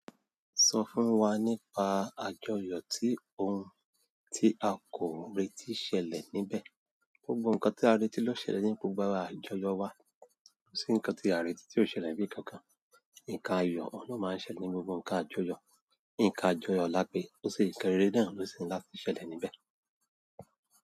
Sọ fún wa nípa àjọyọ̀ tí ohun tí a kò retí ṣẹlẹ̀ níbẹ̀. Gbogbo nǹkan tí a retí lo ṣẹlẹ̀ nípò gbogbo àjọyọ̀ wa, kó sì ńkan tí a retí ti ó ṣẹlẹ̀ níbí kankan. Nǹka ayọ̀ òhun ni o máa ń ṣẹlẹ̀ ní gbogbo ǹkan àjọyọ̀. Nǹka àjọyọ̀ lápèé ó se ńkan kéré náà ló sì ńlá ko ṣẹlẹ̀ níbẹ̀.